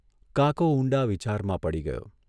કાકો ઊંડા વિચારમાં પડી ગયો.